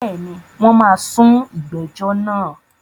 Bẹ́ẹ̀ni, wọ́n máa sún ìgbẹ́jọ́ náà.